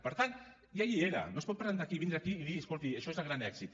per tant ja hi era no es pot presentar aquí vindre aquí i dir escolti això és el gran èxit